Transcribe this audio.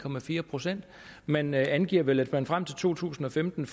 procent man angiver vel at man frem til to tusind og femten